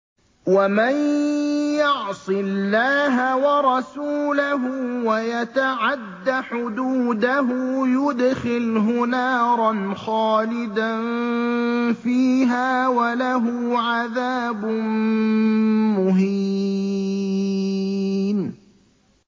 وَمَن يَعْصِ اللَّهَ وَرَسُولَهُ وَيَتَعَدَّ حُدُودَهُ يُدْخِلْهُ نَارًا خَالِدًا فِيهَا وَلَهُ عَذَابٌ مُّهِينٌ